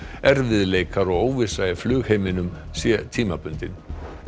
erfiðleikar og óvissa í flugheiminum sé tímabundin